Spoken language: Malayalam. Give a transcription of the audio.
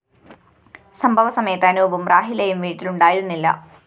സംഭവ സമയത്ത് അനൂപും റാഹിലയും വീട്ടിലുണ്ടായിരുന്നില്ല